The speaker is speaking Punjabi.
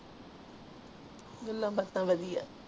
ਗੱਲਾਂ ਬਾਤਾਂ ਵਾਦੀਆਂ